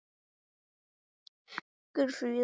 Guðfríður, hringdu í Mugg.